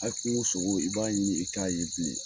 A kungo sogo i b'a ɲini i t'a ye bilen